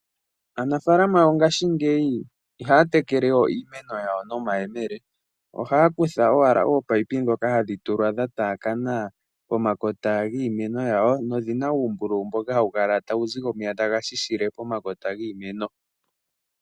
Aanafalama ongashi ngeyi ihaa tekele iimeno nomahemele, ohaa kutha owala oopayipi dho ka hadhi tulwa dha taakana pomakota giimeno nodhina uumbululu mboka ha wu kala tugu zile omeya ngoka taga shishile pomakota giimeno